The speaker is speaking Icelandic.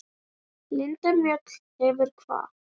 Linda Mjöll hefur kvatt.